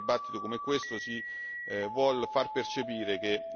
esiste un problema democratico in Grecia che non c'è